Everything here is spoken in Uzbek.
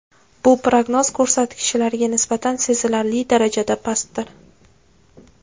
Bu prognoz ko‘rsatkichlariga nisbatan sezilarli darajada pastdir.